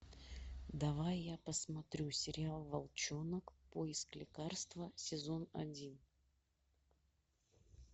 давай я посмотрю сериал волчонок поиск лекарства сезон один